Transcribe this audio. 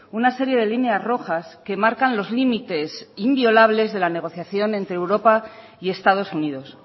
una serie de líneas rojas que marcan los límites inviolables de la negociación entre europa y estados unidos